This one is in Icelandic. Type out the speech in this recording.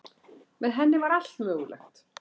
Með henni var allt mögulegt.